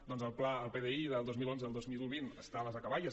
doncs el pdi del dos mil onze al dos mil vint està a les acaballes